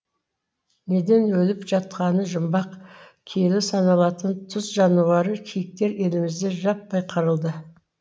неден өліп жатқаны жұмбақ киелі саналатын тұз жануары киіктер елімізде жаппай қырылды